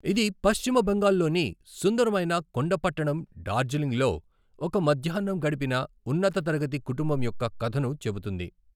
ఇది పశ్చిమ బెంగాల్లోని సుందరమైన కొండ పట్టణం డార్జిలింగ్లో ఒక మధ్యాహ్నం గడిపిన ఉన్నత తరగతి కుటుంబం యొక్క కథను చెబుతుంది.